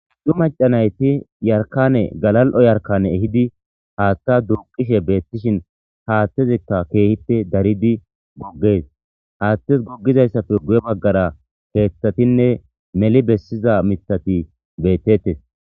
du macanayti yarkane galal7o yarkane ehidi haaththa durqishe beettishin haathtezikka keehite daridi goggees haathtes goggizayssafe guye baggara keeththatinne meli bessiza mitati beettettes